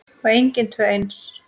Og engin tvö eins.